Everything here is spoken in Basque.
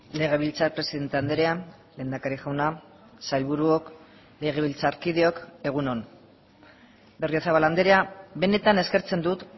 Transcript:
legebiltzar presidente andrea lehendakari jauna sailburuok legebiltzarkideok egun on berriozabal andrea benetan eskertzen dut